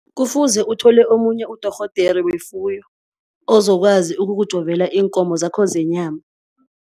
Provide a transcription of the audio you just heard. Kufuze uthole omunye udorhodere wefuyo ozokwazi ukukujovela iinkomo zakho zenyama.